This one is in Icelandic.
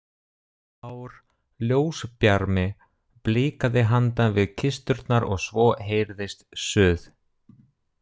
Blár ljósbjarmi blikaði handan við kisturnar og svo heyrðist suð.